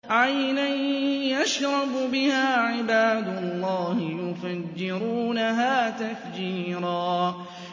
عَيْنًا يَشْرَبُ بِهَا عِبَادُ اللَّهِ يُفَجِّرُونَهَا تَفْجِيرًا